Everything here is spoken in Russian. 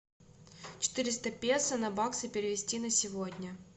четыреста песо на баксы перевести на сегодня